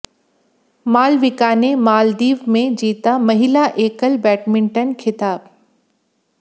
मालविका ने मालदीव में जीता महिला एकल बैडमिंटन खिताब